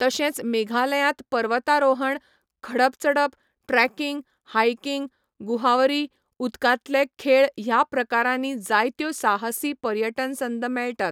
तशेंच मेघालयांत पर्वतारोहण, खडप चडप, ट्रेकिंग, हाइकिंग, गुहावरी, उदकांतले खेळ ह्या प्रकारांनी जायत्यो साहसी पर्यटन संद मेळटात.